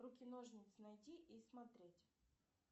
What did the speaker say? руки ножницы найди и смотреть